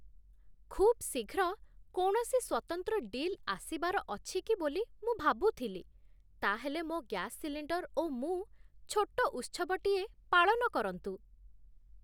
ଖୁବ୍ ଶୀଘ୍ର କୌଣସି ସ୍ୱତନ୍ତ୍ର ଡିଲ୍ ଆସିବାର ଅଛିକି ବୋଲି ମୁଁ ଭାବୁଥିଲି। ତା'ହେଲେ, ମୋ ଗ୍ୟାସ ସିଲିଣ୍ଡର୍ ଓ ମୁଁ ଛୋଟ ଉତ୍ସବଟିଏ ପାଳନ କରନ୍ତୁ!